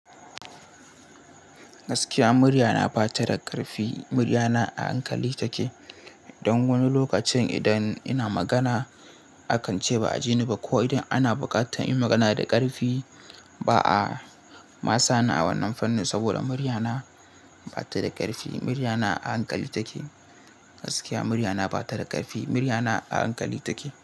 Gaskiya murya na ba ta da ƙarfi. Murya na a hankali take. Don wani lokacin idan ina magana a kan ce ba a jini ba ko idan ana buƙatar in yi magana da ƙarfi, ba a. Ma sa ni a wannan fannin saboda murya na ba ta da ƙarfi. Murya na a hankali take. Gaskiya murya na ba ta da ƙarfi. Murya na a hankali take.